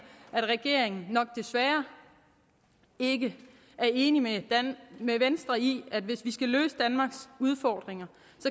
at regeringen nok desværre ikke er enig med venstre i at hvis vi skal løse danmarks udfordringer